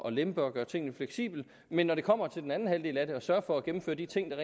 at lempe og gøre tingene fleksible men når det kommer til den anden halvdel af det nemlig at sørge for at gennemføre de ting der